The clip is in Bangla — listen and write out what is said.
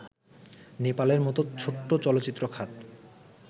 নেপালের মতো ছোট্ট চলচ্চিত্র খাত